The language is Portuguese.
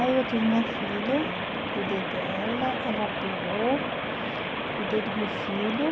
Aí eu tive minha filha, aham, cuidei dela, ela operou, cuidei do meu filho.